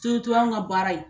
anw ka baara in